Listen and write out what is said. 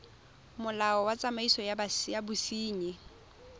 molao wa tsamaiso ya bosenyi